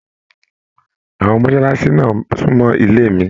Àwọn mọsálásí náà sunmọ ilé mí.